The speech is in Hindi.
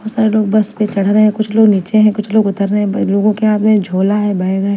बहोत सारे लोग बस पे चढ़ रहे हैं कुछ लोग नीचे है कुछ लोग उतर रहे हैं बे लोगों के हाथ में झोला है बैग हैं।